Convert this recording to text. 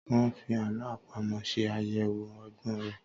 Wọ́́n fi àlọ́ àpamọ̀ ṣe àyẹlwò ọgbọ́n rẹ̀.